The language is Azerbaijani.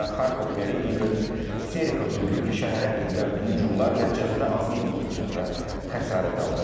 Və Xarkov meri İqor Terexov bildirib ki, şəhərə edilən hücumlar nəticəsində azı 29 nəfər xəsarət alıb.